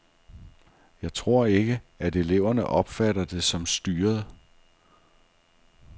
Jeg tror ikke, at eleverne opfatter det som styret.